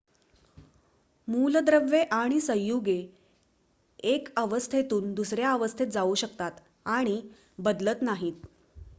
मूलद्रव्ये आणि संयुगे 1 अवस्थेतून दुसऱ्या अवस्थेत जाऊ शकतात आणि बदलत नाहीत